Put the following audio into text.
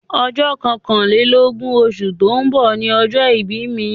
Ọjọ́ kọkànlélógún osù tó ń bọ̀ ni ọjọ́ ìbí mi